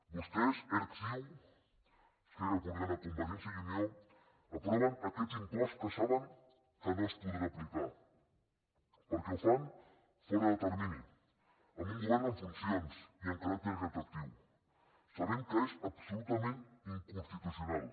vostès erc ciu esquerra republicana convergència i unió aproven aquest impost que saben que no es podrà aplicar perquè ho fan fora de termini amb un govern en funcions i amb caràcter retroactiu sabent que és absolutament inconstitucional